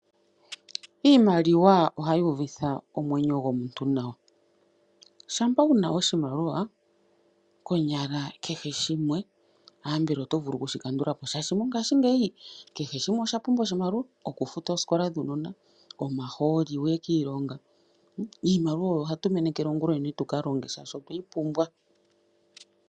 Iimaliwa ohayi uvitha omwenyo gomuntu nawa. Shampa wuna oshimaliwa ambela kehe shimwe oto vulu okushi kandula po. Shashi mongashingeyi kehe shimwe osha pumbwa oshimaliwa. Oku futa oosikola dhuunona, omahooli wuye kiilongo. Iimaliwa oyo hatu menekele ongulonene tuka longe shaashi otweyi pumbwa.